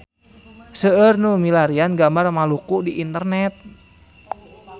Seueur nu milarian gambar Maluku di internet